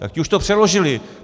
Tak ti už to přeložili.